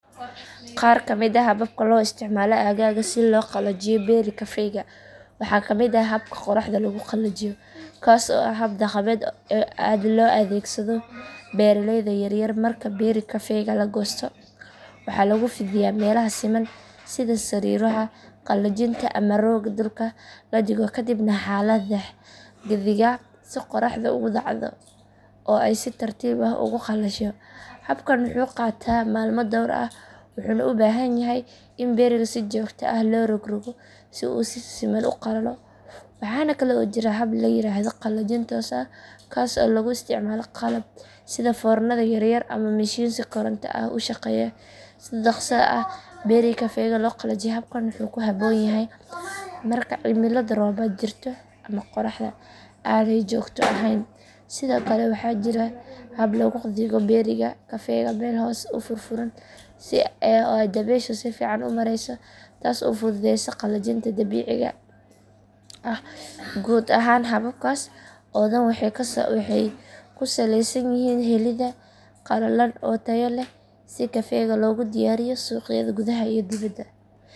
Qaar ka mid ah hababka loo isticmaalo aaggaaga si loo qalajiyo berry kafega waxaa ka mid ah habka qoraxda lagu qalajiyo kaas oo ah hab dhaqameed aad loo adeegsado beeraleyda yar yar marka berry kafega la goosto waxaa lagu fidiyaa meelaha siman sida sariiraha qalajinta ama rooga dhulka la dhigo kadibna waxaa la dhax dhigaa si qorraxdu ugu dhacdo oo ay si tartiib ah ugu qalasho habkan wuxuu qaataa maalmo dhowr ah wuxuuna u baahan yahay in berryga si joogto ah loo rog rogo si uu si siman u qalalo waxaana kale oo jira hab la yiraahdo qalajin toos ah kaas oo lagu isticmaalo qalab sida foornada yar yar ama mishiin si koronto ah u shaqeeya si dhakhso ah berry kafega loo qalajiyo habkan wuxuu ku habboon yahay marka cimilo roobaad jirto ama qorraxda aanay joogto ahayn sidoo kale waxaa jira hab lagu dhigo berry kafega meel hoos u furfuran oo dabayshu si fiican u marayso taas oo fududeysa qalajinta dabiiciga ah guud ahaan hababkaas oo dhan waxay ku saleysan yihiin helidda qalalan oo tayo leh si kafega loogu diyaariyo suuqyada gudaha iyo dibadda.